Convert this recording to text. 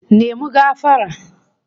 Apologise!